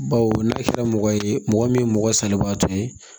Baw n'a kɛra mɔgɔ ye mɔgɔ min mɔgɔ salibaatɔ ye